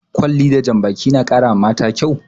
Kwalli da jan baki na ƙara wa mata kyau